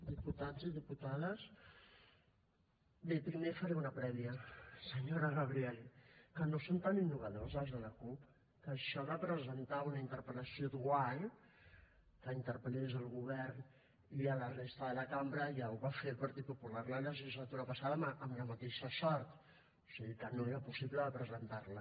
diputats i diputades bé primer faré una prèvia senyora gabriel que no són tan innovadors els de la cup que això de presentar una interpel·lació dual que interpel·lés el govern i la resta de la cambra ja ho va fer el partit popular la legislatura passada amb la mateixa sort o sigui que no era possible presentar la